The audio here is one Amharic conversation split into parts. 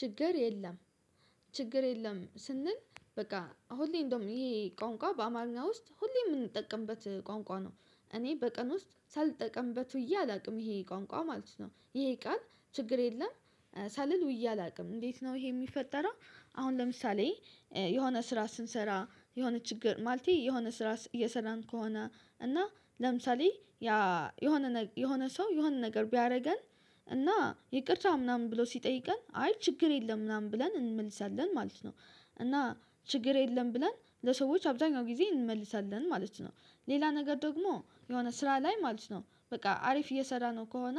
ችግር የለም። ችግር የለም ስንል በቃ ሁሌ እንደውም ይሄ ቋንቋ በአማርኛ ውስጥ ሁሌ የምንጠቀምበት ቋንቋ ነው እኔ በቀን ውስጥ ሳልጠቀምበት ውዬ አላውቅም ይሄ ቋንቋ ማለት ነው። ይሄ ቃል ችግር የለም ሳልል ውይ አላውቅም እንዴት ነው ይሄ የሚፈጠረው? አሁን ለምሳሌ የሆነ ስራ ስንሰራ የሆነ ችግር ማለቴ የሆነ ስራ እየሰራን ከሆነ እና ለምሳሌ የሆነ የሆነ ሰው የሆነ ነገር ቢያደርገን እና ይቅርታ ምናምን ብሎ ሲጠይቀን አይ ችግር የለም ምናምን ብለን እንመልሳለን ማለት ነው። እና ችግር የለም ብለን ለሰዎች አብዛኛው ጊዜ እንመልሳለን ማለት ነው። ሌላ ነገር ደግሞ የሆነ ስራ ላይ ማለት ነው በቃ አሪፍ እየሰራ ነው ከሆነ።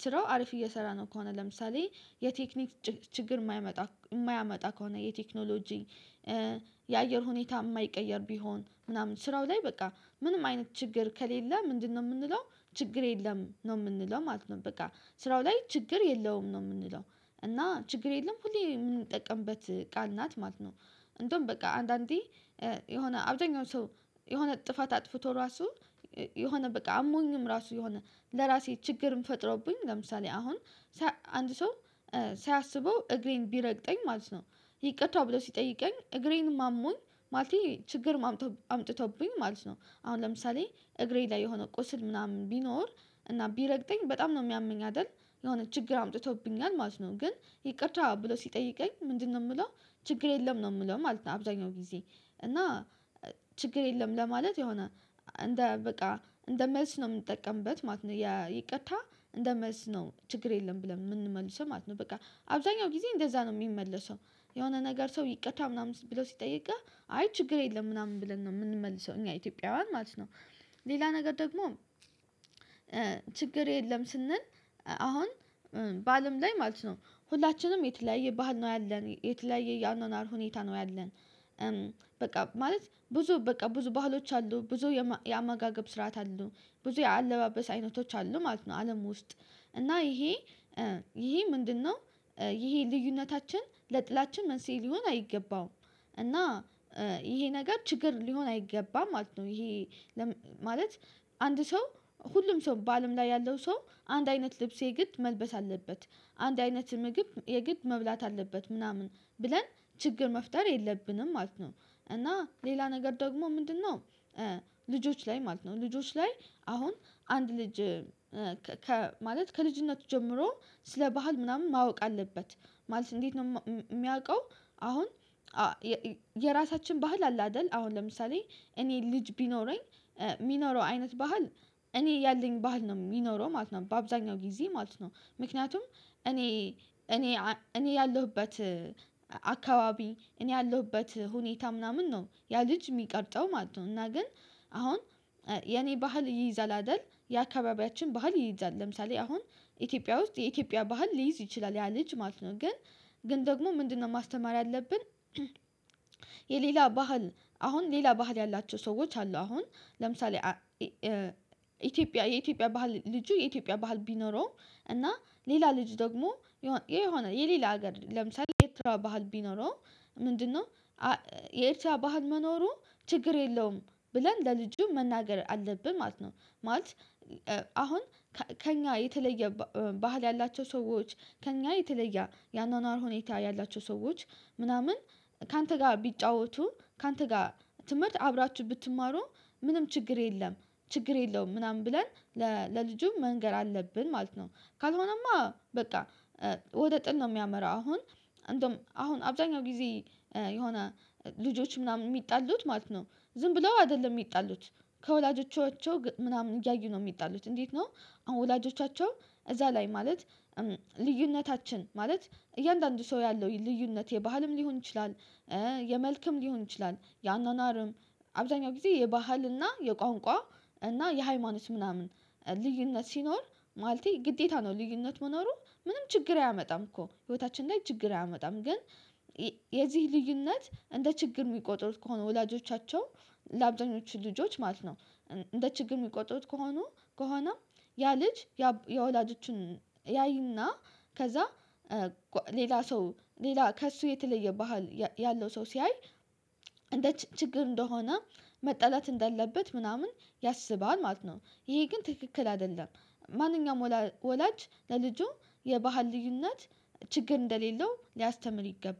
ስራው አሪፍ እየሰራ ነው ከሆነ ለምሳሌ የቴክኒክ ችግር የማያመጣ ከሆነ የቴክኖሎጂ የአየር ሁኔታ የማይቀየር ቢሆን ምናምን ስራው ላይ በቃ ምንም አይነት ችግር ከሌለ ምንድነው የምንለው? ችግር የለም ነው የምንለው ማለት ነው። በቃ ስራው ላይ ችግር የለውም ነው የምንለው እና ችግር የለም ሁሌ የምንጠቀምበት ቃል ናት ማለት ነው። እንደውም በቃ አንዳንዴ የሆነ አብዛኛው ሰው የሆነ ጥፋት አጥፍቶ ራሱ የሆነ በቃ አሞኝም ራሱ የሆነ ለራሴ ችግርም ፈጥረውብኝ ለምሳሌ አሁን አንድ ሰው ሳያስበው እግሬን ቢረግጠኝ ማለት ነው። ይቅርታ ብሎ ሲጠይቀኝ እግሬንም አሞኝ ማለቴ ችግርም አምጥቶብኝ ማለት ነው አሁን ለምሳሌ እግሬ ላይ የሆነ ቁስል ምናምን ቢኖር እና ቢረግጠኝ በጣም ነው የሚያመኝ አይደል? የሆነ ችግር አምጥቶብኛል ማለት ነው። ግን ይቅርታ ብሎ ሲጠይቀኝ ምንድነው የምለው? ችግር የለም ነው የምለው ማለት ነው። አብዛኛው ጊዜ እና ችግር የለም ለማለት የሆነ እንደ በቃ እንደ መልስ ነው የምንጠቀምበት ማለት ነው። ይቅታ እንደመስ ነው ችግር የለም ብለን የምንመልሰው ማለት ነው። በቃ አብዛኛው ጊዜ እንደዛ ነው ሚመለሰው የሆነ ነገር ሰው ይቅታ ምናምን ብለው ሲጠይቅህ አይ ችግር የለም ምናምን ብለን ነው የምንመልሰው እኛ ኢትዮጵያውያን ማለት ነው። ሌላ ነገር ደግሞ ችግር የለም ስንል አሁን ባልም ላይ ማለት ነው ሁላችንም የተለያየ ባህል ነው ያለን የተለያየ ያኖኖር ሁኔታ ነው ያለን። በቃ ማለት ብዙ በቃ ብዙ ባህሎች አሉ ብዙ የአማጋገብ ስርዓት አሉ ብዙ የአለባበስ አይነቶች አሉ ማለት ነው። አለም ውስጥ እና ይሄ ይሄ ምንድነው? ይሄ ልዩነታችን ለጥላችን መንስኤ ሊሆን አይገባውም። እና ይሄ ነገር ችግር ሊሆን አይገባም ማለት ነው። ይሄ ማለት አንድ ሰው ሁሉም ሰው ባልም ላይ ያለው ሰው አንድ አይነት ልብስ የግድ መልበስ አለበት አንድ አይነት ምግብ የግድ መብላት አለበት ምናምን ብለን ችግር መፍጠር የለብንም ማለት ነው። እና ሌላ ነገር ደግሞ ምንድነው? ልጆች ላይ ማለት ነው ልጆች ላይ አሁን አንድ ልጅ ከማለት ከልጅነቱ ጀምሮ ስለ ባህል ምናምን ማወቅ አለበት ማለት እንዴት ነው የሚያውቀው? አሁን የራሳችን ባህል አለ አላደል አሁን ለምሳሌ እኔ ልጅ ቢኖረኝ ሚኖረው አይነት ባህል እኔ ያለኝ ባህል ነው የሚኖረው ማለት ነው። በአብዛኛው ጊዜ ማለት ነው ምክንያቱም እኔ እኔ እኔ ያለሁበት አካባቢ እኔ ያለሁበት ሁኔታ ምናምን ነው ያ ልጅ የሚቀርጠው ማለት ነው። እና ግን አሁን የኔ ባህል እይይዛል አይደል የአካባቢያችን ባህል ይይዛል ለምሳሌ አሁን ኢትዮጵያ ውስጥ የኢትዮጵያ ባህል ሊይዝ ይችላል ያ ልጅ ማለት ነው። ግን ግን ደግሞ ምንድነው ማስተማር ያለብን? የሌላ ባህል አሁን ሌላ ባህል ያላቸው ሰዎች አሉ። አሁን ለምሳሌ ኢትዮጵያ የኢትዮጵያ ባህል ልጁ የኢትዮጵያ ባህል ቢኖረው እና ሌላ ልጅ ደግሞ የሆነ የሌላ ሀገር ለምሳሌ የኤትራ ባህል ቢኖረው ምንድነው የኤትራ ባህል መኖሩ ችግር የለውም ብለን ለልጁ መናገር አለብን ማለት ነው። ማለት አሁን ከእኛ የተለየ ባህል ያላቸው ሰዎች ከእኛ የተለየ የአኗኗር ሁኔታ ያላቸው ሰዎች ምናምን ካንተ ጋ ቢጫወቱ ካንተ ጋ ትምህርት አብራችሁ ብትማሩ ምንም ችግር የለም። ችግር የለውም ምናምን ብለን ለልጁ መንገር አለብን ማለት ነው። ካልሆነማ በቃ ወደ ጥል ነው የሚያመራው። አሁን እንደውም አሁን አብዛኛው ጊዜ የሆነ ልጆች ምናምን የሚጣሉት ማለት ነው። ዝም ብለው አይደለም የሚጣሉት። ከወላጆቻቸው ምናምን እያዩ ነው የሚጣሉት። እንዴት ነው? አሁን ወላጆቻቸው እዛ ላይ ማለት ልዩነታችን ማለት እያንዳንዱ ሰው ያለው ልዩነቴ ባህልም ሊሆን ይችላል። የመልክም ሊሆን ይችላል የአኗኗርም አብዛኛው ጊዜ የባህል እና የቋንቋ እና የሃይማኖት ምናምን ልዩነት ሲኖር ማለቴ ግዴታ ነው። ልዩነት መኖሩ ምንም ችግር አያመጣም እኮ ህይወታችን ላይ ችግር አያመጣም ግን። የዚህ ልዩነት እንደ ችግር የሚቆጥሩት ከሆነ ወላጆቻቸው ለአብዛኞቹ ልጆች ማለት ነው። እንደ ችግር የሚቆጥሩት ከሆኑ ከሆነ ያ ልጅ የወላጆችን ያይና ከዛ ሌላ ሰው ሌላ ከእሱ የተለየ ባህል ያለው ሰው ሲያይ እንደ ችግር እንደሆነ መጣላት እንደለበት ምናምን ያስባል ማለት ነው። ይሄ ግን ትክክል አይደለም። ማንኛውም ወላጅ ለልጁ የባህል ልዩነት ችግር እንደሌለው ሊያስተምር ይገባል